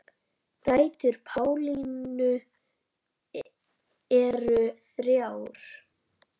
Dætur Pálínu eru þrjár.